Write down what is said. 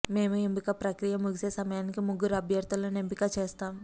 మేము ఎంపిక ప్రక్రియ ముగిసే సమయానికి ముగ్గురు అభ్యర్థులను ఎంపిక చేస్తాము